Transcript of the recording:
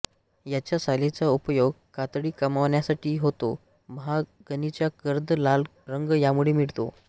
याच्या सालीचा उपयोग कातडी कमावण्यासाठी होतो महोगनीचा गर्द लाल रंग यामुळे मिळतो